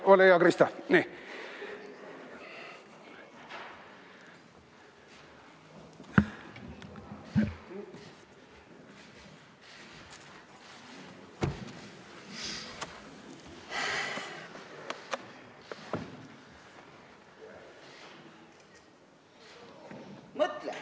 Ole hea, Krista!